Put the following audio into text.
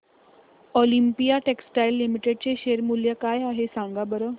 Olympia textiles limited चे share मूल्य काय आहे सांगा बरं